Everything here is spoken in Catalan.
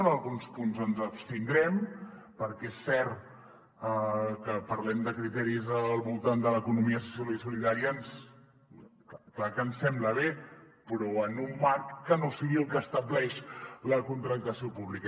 en alguns punts ens abstindrem perquè és cert que parlem de criteris al voltant de l’economia social i solidària clar que ens sembla bé però en un marc que no sigui el que estableix la contractació pública